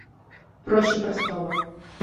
проще простого